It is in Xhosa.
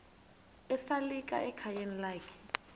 esalika ekhayeni lakhe